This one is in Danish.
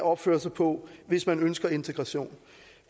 opføre sig på hvis man ønsker integration